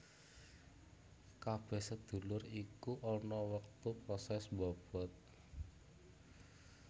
Kabeh sedulur iku ana wektu proses mbobot